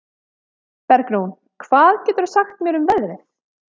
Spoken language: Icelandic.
Bergrún, hvað geturðu sagt mér um veðrið?